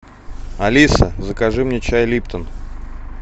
алиса закажи мне чай липтон